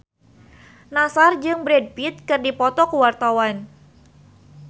Nassar jeung Brad Pitt keur dipoto ku wartawan